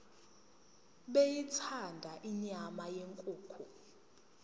beyithanda inyama yenkukhu